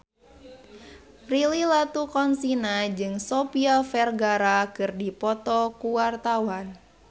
Prilly Latuconsina jeung Sofia Vergara keur dipoto ku wartawan